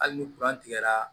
Hali ni tigɛra